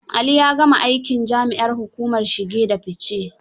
Ali ya gama aikin jami'an hukumar shige da fice.